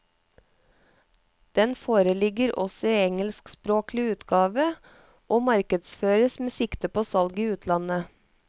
Den foreligger også i engelskspråklig utgave og markedsføres med sikte på salg i utlandet.